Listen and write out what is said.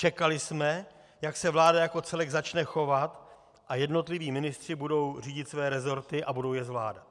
Čekali jsme, jak se vláda jako celek začne chovat a jednotliví ministři budou řídit své rezorty a budou je zvládat.